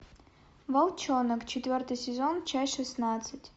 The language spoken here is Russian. волчонок четвертый сезон часть шестнадцать